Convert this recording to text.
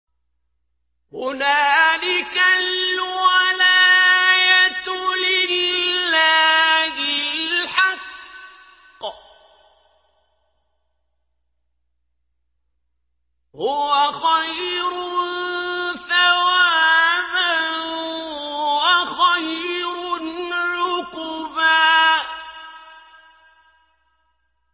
هُنَالِكَ الْوَلَايَةُ لِلَّهِ الْحَقِّ ۚ هُوَ خَيْرٌ ثَوَابًا وَخَيْرٌ عُقْبًا